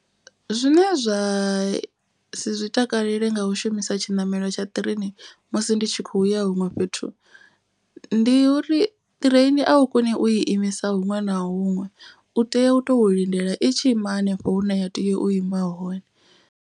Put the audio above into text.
Zwine zwa si zwi takalele nga u shumisa tshiṋamelo tsha ṱireini musi ndi tshi khou ya huṅwe fhethu. Ndi uri ṱireini a u koni u i imisa huṅwe na huṅwe. U tea u to lindela i tshi ima hanefho hune ya tea u ima hone.